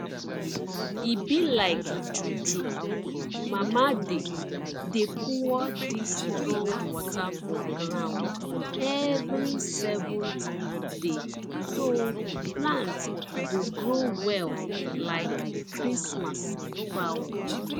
e be like juju mama dey dey pour dis strong water for ground every seventh day so plants go grow well like christmas fowl